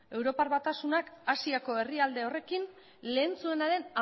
europar batasunak asiako herrialde horrekin lehen zuenaren